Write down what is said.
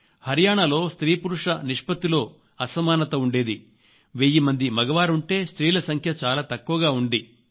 హరియాణాలో స్త్రీల సంఖ్య చాలా తక్కువ ఉంది